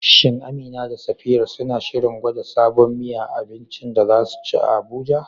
Shin Amina da Safira suna shirin gwada sabon miya a abincin da za su ci a Abuja?